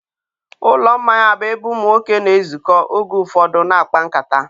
ụlọ mmanya bụ ebe ụmụ nwoke na-ezukọ oge ụfọdụ na-akpa nkata.